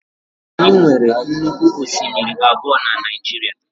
Anyị nwere nnukwu osimiri abụọ na Naịjirịa.